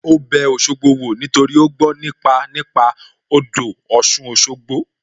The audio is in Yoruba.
Ó bẹ Òṣogbo wò nítorí ó gbó nípa nípa odò Ọ̀sun Òṣogbo